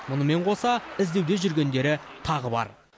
мұнымен қоса іздеуде жүргендері тағы бар